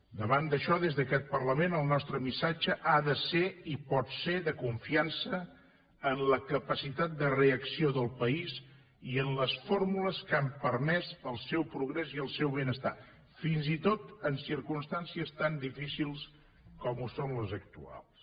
davant d’això des d’aquest parlament el nostre missatge ha de ser i pot ser de confiança en la capacitat de reacció del país i en les fórmules que n’han permès el progrés i el benestar fins i tot en circumstàncies tan difícils com ho són les actuals